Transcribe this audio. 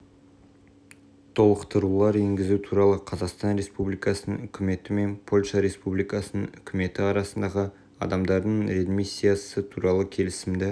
толықтырулар енгізу туралы қазақстан республикасының үкіметі мен польша республикасының үкіметі арасындағы адамдардың реадмиссиясы туралы келісімді